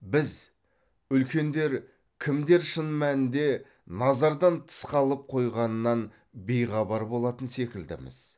біз үлкендер кімдер шын мәнінде назардан тыс қалып қойғанынан бейхабар болатын секілдіміз